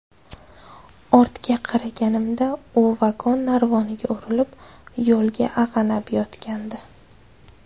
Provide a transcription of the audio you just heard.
Ortga qaraganimda u vagon narvoniga urilib, yo‘lda ag‘anab yotgandi.